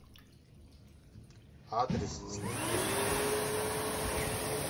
адрес снегири